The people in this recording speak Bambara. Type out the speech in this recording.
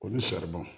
Olu